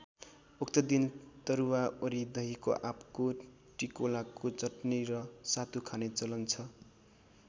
उक्त दिन तरुवा वरी दही आँपको टिकोलाको चटनी र सातु खाने चलन छ।